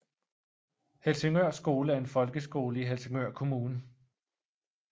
Helsingør Skole er en folkeskole i Helsingør Kommune